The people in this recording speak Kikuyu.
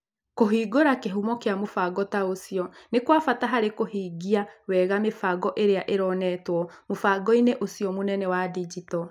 Kũhingũra kĩhumo kĩa mũbango ta ũcio nĩ kwa bata harĩ kũhingia wega mĩbango ĩrĩa ĩronetwo mũbango-inĩ ũcio wa mũbango mũnene wa digito.